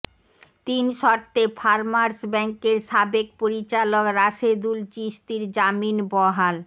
তিন শর্তে ফারমার্স ব্যাংকের সাবেক পরিচালক রাশেদুল চিশতীর জামিন বহাল